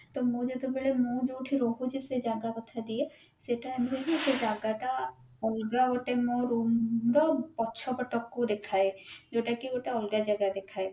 ତ ମୁଁ ଯେତେ ବେଳେ ମୁଁ ଯୋଉଠି ରହୁଛି ସେ ଜାଗା କଥା ଦିଏ ସେଟା ଏମତି ହୁଏ କି ସେ ଜାଗା ଟା ଅଲଗା ଗୋଟେ ମୋ room ର ପଛପଟକୁ ଦେଖାଏ ଯୋଉଟା କି ଗୋଟେ ଅଲଗା ଜାଗା ଦେଖାଏ